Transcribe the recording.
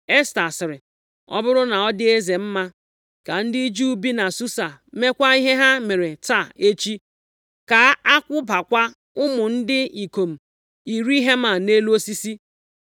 Esta sịrị, “Ọ bụrụ na ọ dị eze mma, ka ndị Juu bi na Susa meekwa ihe ha mere taa echi, ka a kwụbakwa ụmụ ndị ikom iri Heman nʼelu osisi.”